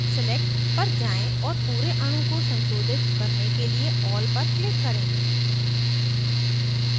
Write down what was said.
select पर जाएँ और पूरे अणु को संशोधित करने के लिए all पर click करें